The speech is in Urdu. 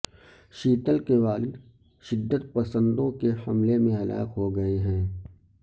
شیتل کے والد شدت پسندوں کے حملے میں ہلاک ہوگئے ہیں